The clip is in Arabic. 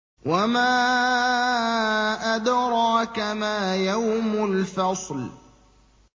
وَمَا أَدْرَاكَ مَا يَوْمُ الْفَصْلِ